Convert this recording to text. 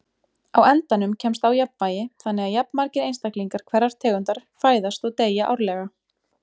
Á endanum kemst á jafnvægi þannig að jafnmargir einstaklingar hverrar tegundar fæðast og deyja árlega.